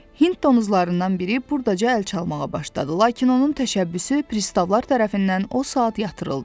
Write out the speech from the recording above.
Hind donuzlarından biri burdaca əl çalmağa başladı, lakin onun təşəbbüsü pristavlar tərəfindən o saat yatırıldı.